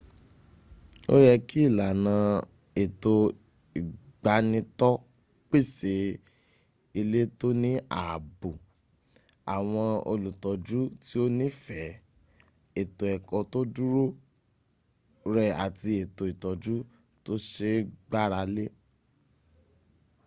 ó yẹ kí ìlànà ètò ìgbanitọ́ pèsè ilé tó ní ààbò àwọn olùtọ́jú tí ó nífẹ̀ẹ́ ètò ẹ̀kọ́ tó dúró re àti ètò ìtọ́jú tó se é gbáralé